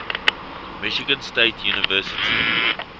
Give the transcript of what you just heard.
michigan state university